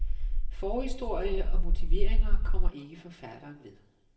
Forhistorie og motiveringer kommer ikke forfatteren ved.